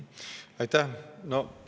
Aitäh!